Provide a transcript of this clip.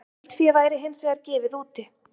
Geldfé væri hins vegar gefið úti